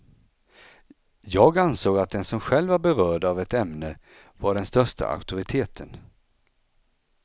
Jag ansåg att den som själv var berörd av ett ämne var den största auktoriteten.